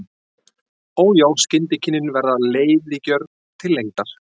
Og já, skyndikynnin verða leiðigjörn til lengdar.